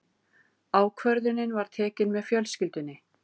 Ákvörðunin var tekin með fjölskyldunni.